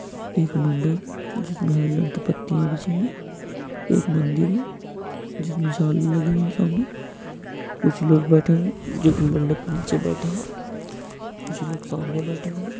एक मंडप है और जिसमे पति बिच्छी है एक मदिर में है जिसमे लगी है जिसमे कुछ लोग बेठे है मंडप के निचे बैठे है कुछ लोग सामने बेठे हे।